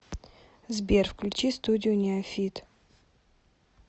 сбер включи студию неофит